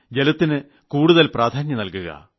ജലത്തിന് കൂടുതൽ പ്രാധാന്യം നൽകുക